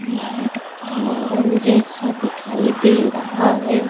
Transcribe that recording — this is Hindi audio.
प्लेटफॉर्म जैसा दिखाई दे रहा है।